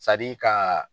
ka